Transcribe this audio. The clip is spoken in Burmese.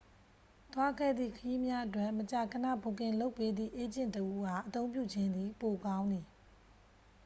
သွားခဲ့သည့် ခရီးများအတွက် မကြာခဏ ဘွတ်ကင်လုပ်ပေးသည့် အေးဂျင့်တစ်ဦးအား အသုံးပြုခြင်းသည် ပိုကောင်းသည်